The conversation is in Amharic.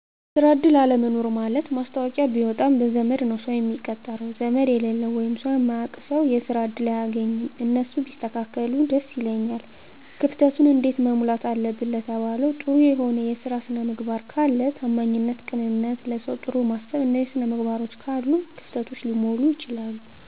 የስራ እድል አለመኖር ማለት ማስታወቂያ ቢወጣም በዘመድ ነዉ ሰዉ ሚቀጠረዉ ዘመድ የሌለዉ ወይም ሰዉ ማያዉቅ ሰዉ የስራ እድል አያገኝም እነሱ ቢስተካከሉ ደስ ይለኛል። ክፍተቱን እንዴት መሙላት አለብን ለተባለዉ ጥሩ የሆነ የስራ ስነምግባር ካለ ታማኝነት ቅንነት ለሰዉ ጥሩ ማሰብ እነዚህ ስነምግባሮች ካሉ እነዚህ ክፍተቶች ሊሞሉ ይችላሉ